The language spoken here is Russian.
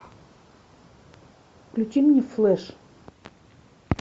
включи мне флэш